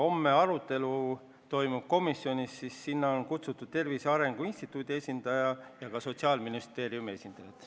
Homme toimub meil komisjonis arutelu ning sinna on kutsutud ka Tervise Arengu Instituudi esindaja ja Sotsiaalministeeriumi esindajad.